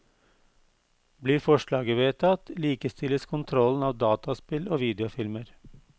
Blir forslaget vedtatt, likestilles kontrollen av dataspill og videofilmer.